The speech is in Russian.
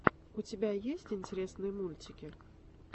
у тебя есть интересные мультики